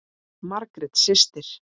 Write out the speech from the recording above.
Margrét systir.